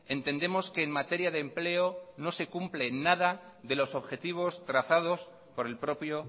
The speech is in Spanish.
entendemos que en materia de empleo no se cumple nada de los objetivos trazados por el propio